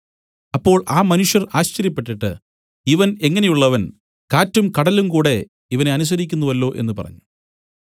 അപ്പോൾ ആ മനുഷ്യർ ആശ്ചര്യപ്പെട്ടിട്ട് ഇവൻ എങ്ങനെയുള്ളവൻ കാറ്റും കടലും കൂടെ ഇവനെ അനുസരിക്കുന്നുവല്ലോ എന്നു പറഞ്ഞു